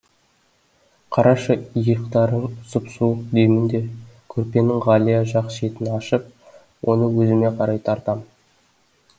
қарашы иықтарың сұп суық деймін де көрпенің ғалия жақ шетін ашып оны өзіме қарай тартам